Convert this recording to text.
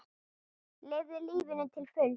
Lifðu lífinu til fulls!